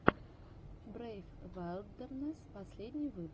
брейв вайлдернесс последний выпуск